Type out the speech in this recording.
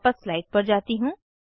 मैं वापस स्लाइड्स पर जाती हूँ